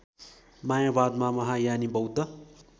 मायावादमा महायानी बौद्ध